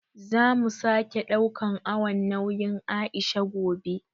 Zamu sake ɗaukan awon nauyin Aisha gobe